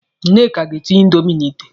Nneka ga-etinye indomi n'ìtè.